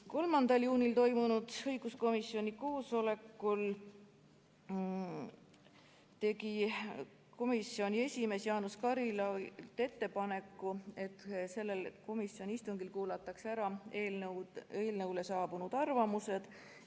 3. juunil toimunud õiguskomisjoni koosolekul tegi komisjoni esimees Jaanus Karilaid ettepaneku, et sellel komisjoni istungil kuulatakse ära eelnõu kohta saabunud arvamused.